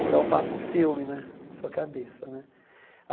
Então, passa um filme né na sua cabeça né.